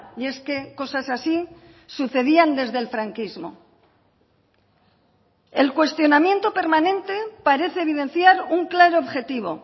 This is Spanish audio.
y es que cosas así sucedían desde el franquismo el cuestionamiento permanente parece evidenciar un claro objetivo